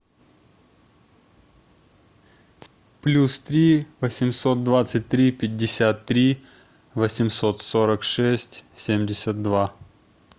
плюс три восемьсот двадцать три пятьдесят три восемьсот сорок шесть семьдесят два